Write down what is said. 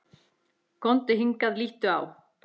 Komdu hingað, líttu á!